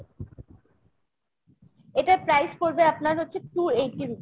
এটার price পরবে আপনার হচ্ছে two eighty rupees।